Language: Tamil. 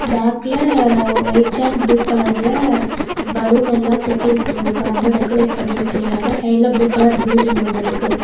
பேக்ல ஒயிட் அண்ட் ப்ளூ கலர்ல பலூன் எல்ல கட்டிவிட்டு இருக்காங்க டெகரேட் பண்ணி வெச்சிருக்காங்க சைடுல ப்ளூ கலர் பில்டிங் ஒன்னு இருக்கு.